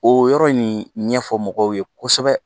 O yɔrɔ nin ɲɛfɔ mɔgɔw ye kosɛbɛ